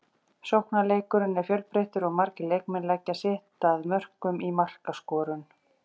Sóknarleikurinn er fjölbreyttur og margir leikmenn leggja sitt að mörkum í markaskorun.